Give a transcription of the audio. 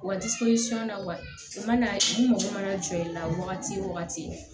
Wa na wa u mana n'u mago mana jɔ i la wagati o wagati